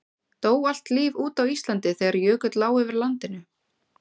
Dó allt líf út á Íslandi þegar jökull lá yfir landinu?